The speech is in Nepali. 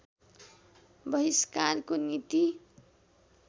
बहिस्कारको नीति